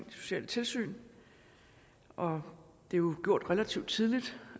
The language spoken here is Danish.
de sociale tilsyn og det er jo gjort relativt tidligt